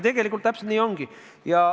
Tegelikult täpselt nii ongi.